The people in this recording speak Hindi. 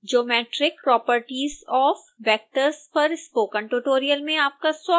geometric properties of vectors पर स्पोकन ट्यूटोरियल में आपका स्वागत है